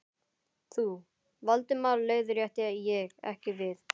Þú, Valdimar leiðrétti ég, ekki við.